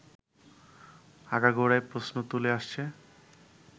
আগাগোড়াই প্রশ্ন তুলে আসছে